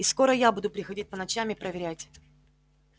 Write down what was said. и скоро я буду приходить по ночам и проверять